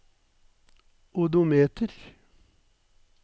odometer